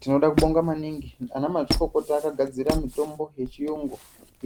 Tinoda kubonga maningi anamazvikokota akagadzira mitombo yechiyungu